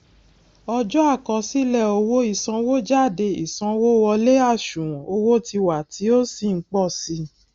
ọjọ àkosile owo ìsanwójádé ìsanwówọlé àṣùwòn owó tiwa tí ó sì n pò sí i